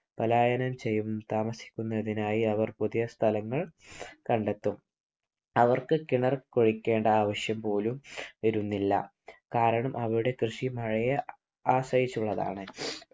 പലായനം ചെയ്യുന്ന താമസിക്കുന്നതിനായി അവർ പുതിയ സ്ഥലങ്ങൾ കണ്ടെത്തും. അവർക്ക് കിണർ കുഴിക്കേണ്ട ആവശ്യം പോലും വരുന്നില്ല. കാരണം അവരുടെ കൃഷി മഴയെ ആശ്രയിച്ചുള്ളതാണ്.